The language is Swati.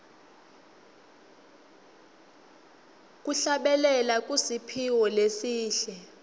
kuhlabelela kusiphiwo lesihle